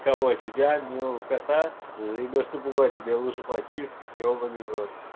кого тебя милого кота заебёшься пугать тебя лучше потискать ёбаный в рот